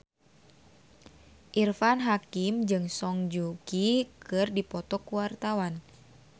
Irfan Hakim jeung Song Joong Ki keur dipoto ku wartawan